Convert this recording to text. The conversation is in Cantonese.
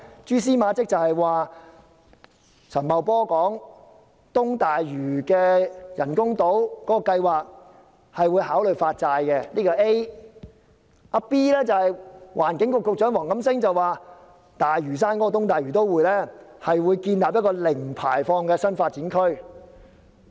蛛絲馬跡就是陳茂波說會考慮就東大嶼的人工島計劃發債，此為 A；B 則是環境局局長黃錦星說，會在東大嶼都會建立一個零排放的新發展區。